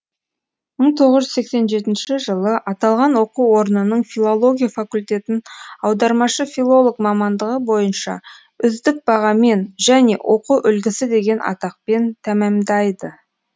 мың тоғыз жүз сексен жетінші жылы аталған оқу орнының филология факультетін аудармашы филолог мамандығы бойынша үздік бағамен және оқу үлгілісі деген атақпен тәмәмдайды